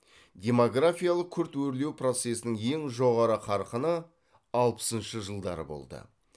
демографиялық күрт өрлеу процесінің ең жоғары қарқыны алпысыншы жылдары болды